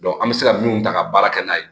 an bɛ se ka min ta ka baara kɛ n'a ye